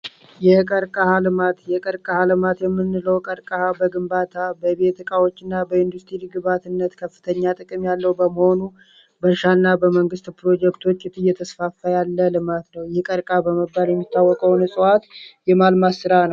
የቀርቅሃ ልማት የቀረቃልማት የምንለው ለቤት ግንባታ ኢንዱስትሪ ግብዓት ትልቅ ጠቀሜታ ያለው በመሆኑ በእርሻና በመንግስት ፕሮጀክቶች እየተስፋፋ ያለ ልማት ነው ይህ ቀርቀሃ በመባል የሚታወቀው የማልማት ስራ ነው።